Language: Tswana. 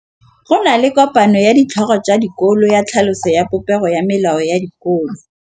Go na le kopanô ya ditlhogo tsa dikolo ya tlhaloso ya popêgô ya melao ya dikolo.